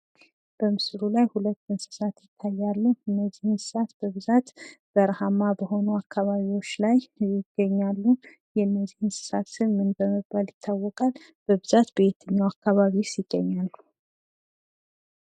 በምስሉ ላይ ሁለት እንስሳት ይታያሉ እንዚህ እንስሳት በብዛት በርሃማ በሆኑ አካባቢዎች ላይ ይገኛሉ ። የእነዚህ እንስሳት ስም ምን በመባል ይታወቃል? በብዛት በየትኛው አካባቢስ ይገኛሉ?